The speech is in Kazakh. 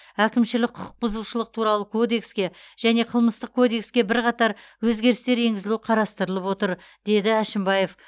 әкімшілік құқық бұзушылық туралы кодекске және қылмыстық кодекске бірқатар өзгерістер енгізу қарастырылып отыр деді әшімбаев